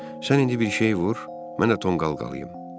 Sən indi bir şey vur, mən də tonqal qalayım.